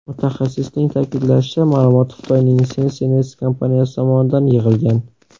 Mutaxassisning ta’kidlashicha, ma’lumot Xitoyning SenseNets kompaniyasi tomonidan yig‘ilgan.